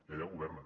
i allà governen